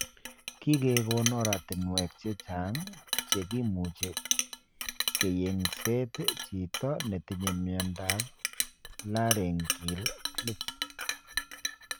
Kigegon oratinwek chechang che kimuche keyengset chito netinye miondap laryngeal cleft.